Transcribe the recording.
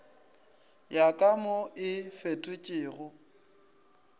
ya ka mo e fetotšwego